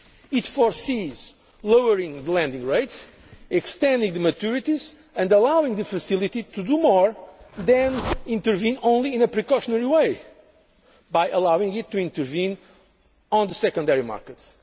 It foresees lowering lending rates, extending the maturities and allowing the Facility to do more than intervene only in a precautionary way, by allowing it to intervene on the secondary markets.